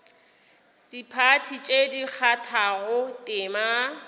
diphathi tše di kgathago tema